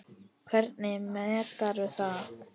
Hvernig meturðu það?